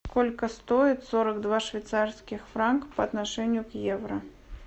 сколько стоит сорок два швейцарских франка по отношению к евро